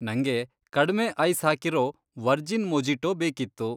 ನಂಗೆ ಕಡ್ಮೆ ಐಸ್ ಹಾಕಿರೋ ವರ್ಜಿನ್ ಮೊಜಿಟೋ ಬೇಕಿತ್ತು.